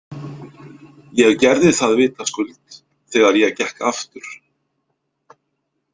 Ég gerði það vitaskuld þegar ég gekk aftur.